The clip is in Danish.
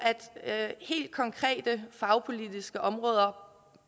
helt konkrete fagpolitiske områder